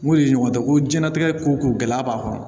N kun ye ɲɔgɔn dɔn ko diɲɛlatigɛ ko ko gɛlɛya b'a kɔrɔ